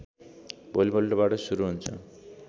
भोलिपल्टबाट सुरु हुन्छ